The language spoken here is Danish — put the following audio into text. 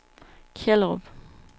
Kjellerup